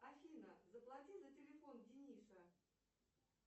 афина заплати за телефон дениса